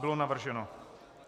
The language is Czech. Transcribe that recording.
Bylo navrženo.